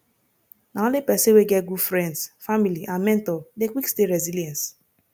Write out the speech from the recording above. na only pesin wey get good friends family and mentor dey quick stay resilience